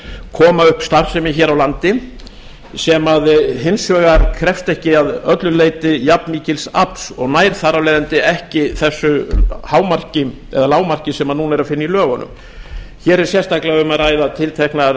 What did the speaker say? koma upp starfsemi hér á landi sem hins vegar krefst ekki að öllu leyti jafnmikils afls og nær þar af leiðandi ekki þessu hámarki eða lágmarki sem núna er að finna í lögunum hér er sérstaklega um að ræða tiltekna